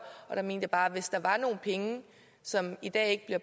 jeg mener bare at hvis der er nogle penge som i dag ikke bliver